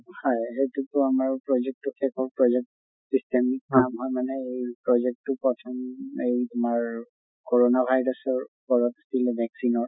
হয় সেইটোৰ পৰা মই project টো পালো system এই project টো পাইছো উম এই তোমাৰ কৰʼণা virus ৰ ওপৰত vaccine ৰ